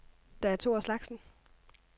Der er to af slagsen.